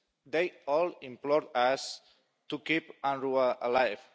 They all implored us to keep UNRWA alive.